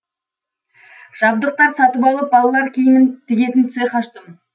жабдықтар сатып алып балалар киімін тігетін цех аштым